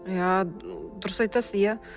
иә дұрыс айтасыз иә